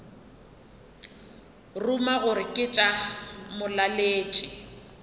ruma gore ke tša molaletši